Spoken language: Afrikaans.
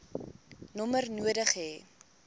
nommer nodig hê